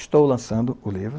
Estou lançando o livro.